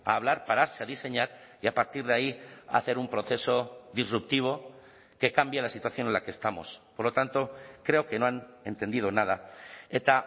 a hablar pararse a diseñar y a partir de ahí hacer un proceso disruptivo que cambia la situación en la que estamos por lo tanto creo que no han entendido nada eta